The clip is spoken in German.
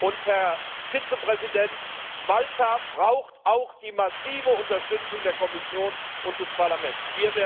Und, Herr Vizepräsident, Malta braucht auch die massive Unterstützung der Kommission und des Parlaments.